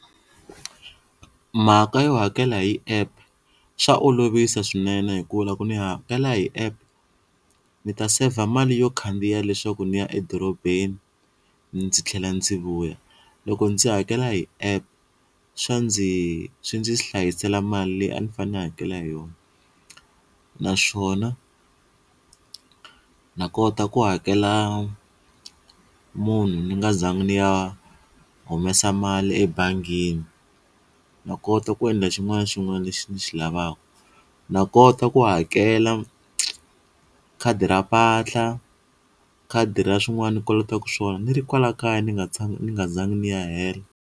Mhaka yo hakela hi app swa olovisa swinene hikuva loko ni hakela hi app ni ta saver mali yo khandziya leswaku ndzi ya edorobeni ndzi tlhela ndzi vuya loko ndzi hakela hi app swa ndzi swi ndzi hlayisela mali leyi a ni fanele ni hakela hi yona, naswona na kota ku hakela munhu ni nga zangi ni ya humesa mali ebangini na kota ku endla xin'wana na xin'wana lexi ni xi lavaka na kota ku hakela khadi ra mpahla khadi ra swin'wana ni kolotaku swona ni ri kwala kaya ni nga ni nga zangi ni ya helo.